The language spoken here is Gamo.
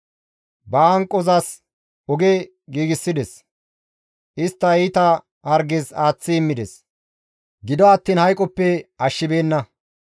Ba hanqozas oge giigsides; istta iita harges aaththi immides; gido attiin hayqoppe ashshibeenna.